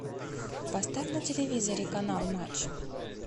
поставь на телевизоре канал матч